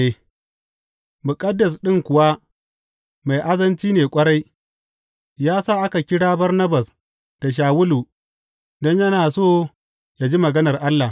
Muƙaddas ɗin kuwa mai azanci ne ƙwarai, ya sa aka kira Barnabas da Shawulu don yana so ya ji maganar Allah.